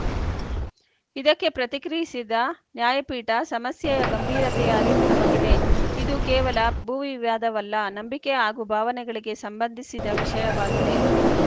ಇದಕ್ಕೆ ಪ್ರತಿಕ್ರಿಯಿಸಿದ ನ್ಯಾಯಪೀಠ ಸಮಸ್ಯೆಯ ಗಂಭೀರತೆಯ ಅರಿವು ನಮಗಿದೆ ಇದು ಕೇವಲ ಭೂವಿವ್ಯಾದವಲ್ಲ ನಂಬಿಕೆ ಹಾಗೂ ಭಾವನೆಗಳಿಗೆ ಸಂಬಂಧಿಸಿದ ವಿಷಯವಾಗಿದೆ